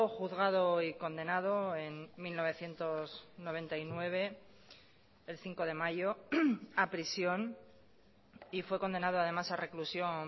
juzgado y condenado en mil novecientos noventa y nueve el cinco de mayo a prisión y fue condenado además a reclusión